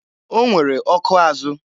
O nwere ọkụ azụ.